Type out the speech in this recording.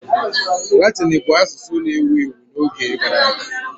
Latịni bụ asusụ na-ewu ewu n'oge gara aga.